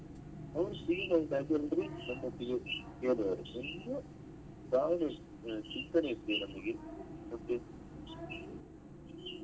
ಅವ್ರು free ಆಗಿ ನಮ್ಮೊಟ್ಟಿಗೆ ಹೇಳುವರು .